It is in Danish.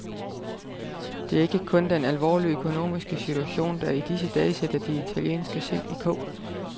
Det er ikke kun den alvorlige økonomiske situation, der i disse dage sætter de italienske sind i kog.